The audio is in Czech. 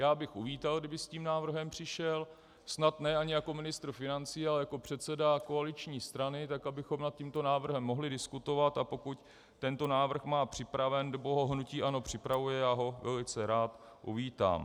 Já bych uvítal, kdyby s tím návrhem přišel, snad ne ani jako ministr financí, ale jako předseda koaliční strany, tak abychom nad tímto návrhem mohli diskutovat, a pokud tento návrh má připraven nebo ho hnutí ANO připravuje, já ho velice rád uvítám.